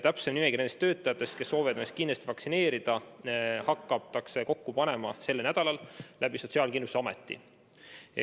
Täpsemat nimekirja nendest töötajatest, kes soovivad kindlasti lasta enda vaktsineerida, hakatakse kokku panema sel nädalal Sotsiaalkindlustusameti kaudu.